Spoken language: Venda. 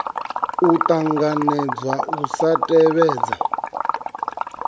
a ṱanganedza u sa tevhedzwa